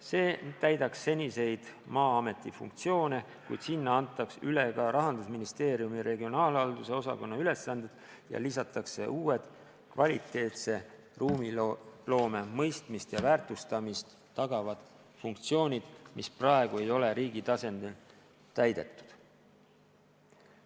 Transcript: See täidaks seniseid Maa-ameti funktsioone, kuid sinna antaks üle ka Rahandusministeeriumi regionaalhalduse osakonna ülesanded ja lisatakse uued, kvaliteetse ruumiloome mõistmist ja väärtustamist tagavad funktsioonid, mis praegu ei ole riigi tasandil täidetud.